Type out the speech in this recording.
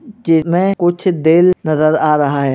के में कुछ दिल नज़र आ रहा है।